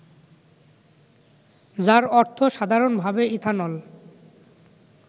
যার অর্থ সাধারণভাবে ইথানল